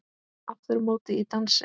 Aftur á móti í dansi.